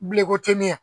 Bileko tɛ ne ɲɛ